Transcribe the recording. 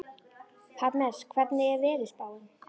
Parmes, hvernig er veðurspáin?